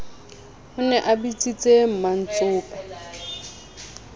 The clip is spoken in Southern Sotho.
o ne a bitsitse mmantsopa